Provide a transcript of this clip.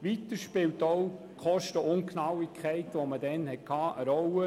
Weiter spielt auch die damalige Kostenungenauigkeit eine Rolle.